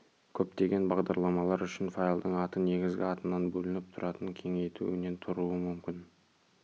көптеген бағдарламалар үшін файлдың аты негізгі атынан бөлініп тұратын кеңейтуінен тұруы мүмкін